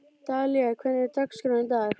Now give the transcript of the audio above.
Dalía, hvernig er dagskráin í dag?